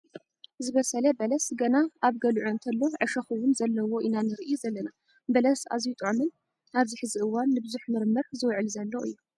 ዝበሰለ በለስ ገና ኣብ ገልዑ እንተሎ ዕሾክ እውን ዘለዎ ኢና ንርኢ ዘለና ። በለስ ኣዝዩ ጥዑምን ኣብዚ ሕዚ እዋን ንብዙሕ ምርምር ዝውዕል ዘሎ እዩ።